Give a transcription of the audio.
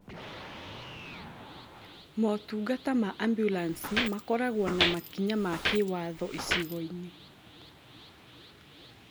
Motungata ma ambulanĩcĩ makoragwo na makinya ma kĩwatho icigo-inĩ